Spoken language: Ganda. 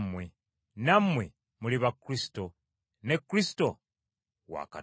nammwe muli ba Kristo, ne Kristo wa Katonda.